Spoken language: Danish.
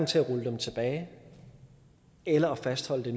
til at rulle dem tilbage eller fastholde